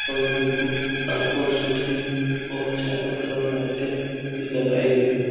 और बिल्कुल साफ और सुथरी और चारों तरफ लाइटें भी लगाई गई।